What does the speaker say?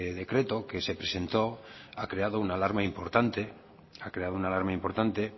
decreto que se presentó ha creado una alarma importante